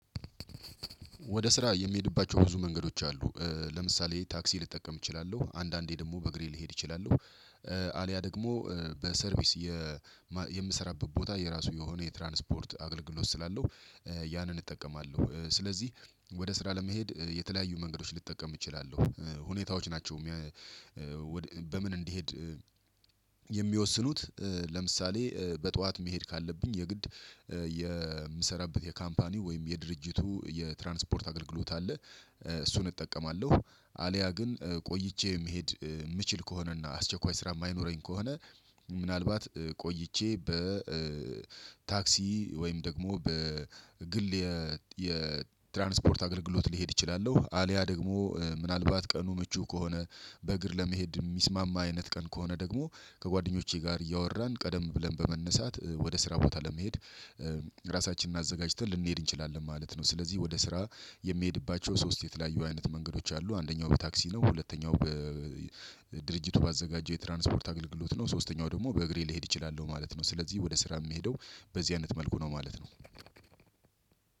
ወደ ስራ የሚሄድባቸው ብዙ መንገዶች አሉ እ ለምሳሌ ታክሲ ልጠቀም እችላለሁ አንዳንዴ ደግሞ በእግሬ ልሄድ እችላለሁ። እእ አሊያ ደግሞ በሰርቪስ የማ የምሰራበት ቦታ የራሱ የሆነ የትራንስፖርት አገልግሎት ስላለው እእ ያንን እጠቀማለሁ እእ ስለዚህ ወደ ስራ ለመሄድ እእ የተለያዩ መንገዶች ልጠቀም እችላለሁ። እእ ሁኔታዎች ናቸው ሚ እእ በምን እንድሄድ እእ የሚወስኑት እእ ለምሳሌ እእ በጠዋት መሄድ ካለብኝ የግድ እእ የምሰራበት የካምፓኒው ወይም የድርጅቱ የትራንስፖርት አገልግሎት አለ እእ እሱን እጠቀማለሁ። አልያ ግን እእ ቆይቼ መሄድ ምችል ከሆነና አስቸኳይ ስራ የማይኖረኝ ከሆነ ምናልባት እእ ቆይቼ በ እእ ታክሲ ወይም ደግሞ በ ግል የ የትራንስፖርት አገልግሎት ሊሄድ እችላለሁ። አልያ ደግሞ እ ምናልባት ቀኑ ምቹ ከሆነ በእግር ለመሄድ የሚስማማ አይነት ቀን ከሆነ ደግሞ ከጓደኞቼ ጋር እያወራን ቀደም ብለን በመነሳት እ ወደ ስራ ቦታ ለመሄድ እ ራሳችንን አዘጋጅተን ልንሄድ እንችላለን ማለት ነው። ስለዚህ ወደ ስራ የሚሄድባቸው ሶስት የተለያዩ አይነት መንገዶች አሉ አንደኛው በታክሲ ነው። ሁለተኛው በእእ ድርጅቱ ባዘጋጀው የትራንስፖርት አገልግሎት ነው። ሶስተኛው ደግሞ በእግሬ ልሄድ እችላለሁ ማለት ነው። ስለዚህ ወደ ስራ ምሄደው በዚህ አይነት መልኩ ነው ማለት ነው።